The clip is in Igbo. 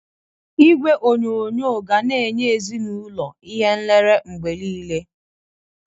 Igwe onyonyo ga na-enye ezinaụlọ ihe nlere mgbe niile